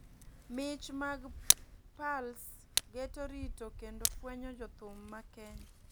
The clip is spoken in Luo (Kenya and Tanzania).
mich mag Pulse geto rito kendo fwenyo jo thum ma Kenya,